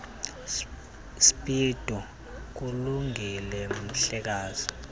speedo kulungile mhlekazi